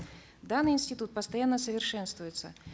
данный институт постоянно совершенствуется